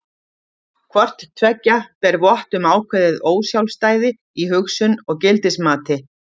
Hvort tveggja ber vott um ákveðið ósjálfstæði í hugsun og gildismati.